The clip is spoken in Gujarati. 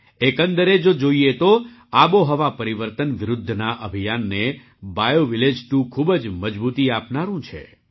એકંદરે જો જોઈએ તો આબોહવા પરિવર્તન વિરુદ્ધના અભિયાનને બાયૉવિલેજ 2 ખૂબ જ મજબૂતી આપનારું છે